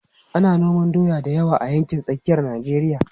Ana noman doya da yawa a yankin tsakiyar Najeriya.